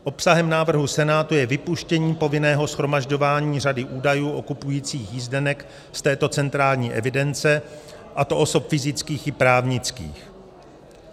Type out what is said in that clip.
Obsahem návrhu Senátu je vypuštění povinného shromažďování řady údajů o kupujících jízdenek z této centrální evidence, a to osob fyzických i právnických.